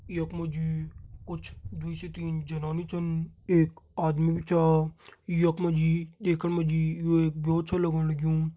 यख मा जी कुछ दुई से तीन जनानी छन एक आदमी भी छ यख मा जी देखण मा जी यू एक ब्यो छ लगण लग्युं।